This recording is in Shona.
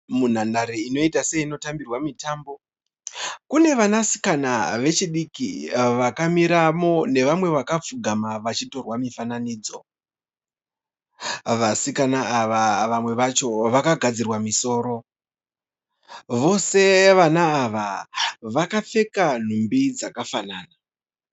Munhandare inoiita seinotambirwa mutambo kune vanasikana vechidiki vakamiramo nevamwe vakapfugama vachitorwa mifanananidzo. Vasikana ava vamwe vacho vakagadzirwa musoro. Vose vasikana ava vakapfeka nhumbi dzakafanana.